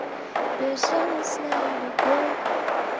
безжалостная любовь